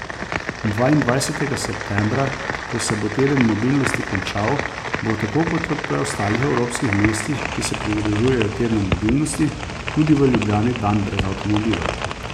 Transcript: Dvaindvajsetega septembra, ko se bo teden mobilnosti končal, bo tako kot v preostalih evropskih mestih, ki se pridružujejo tednu mobilnosti, tudi v Ljubljani dan brez avtomobila.